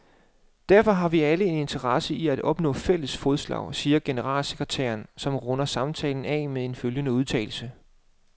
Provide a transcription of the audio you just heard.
Derfor har vi alle en interesse i at opnå fælles fodslag, siger generalsekretæren, som runder samtalen af med følgende udtalelse.